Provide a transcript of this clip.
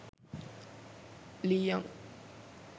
lee young